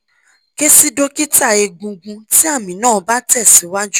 ke si dokita egungun ti ami na ba te si waju